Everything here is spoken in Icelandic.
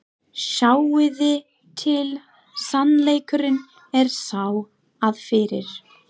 Sjáiði til, sannleikurinn er sá, að fyrir